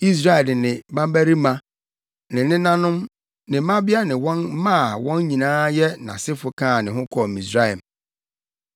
Israel de ne mmabarima, ne nenanom, ne mmabea ne wɔn mma a wɔn nyinaa yɛ nʼasefo kaa ne ho kɔɔ Misraim.